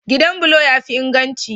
Gidan bulo ya fi inganci.